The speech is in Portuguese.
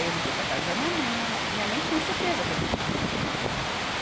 Aí eu liguei para a casa da minha mãe, porque minha mãe tinha certeza que a gente tinha ido preso.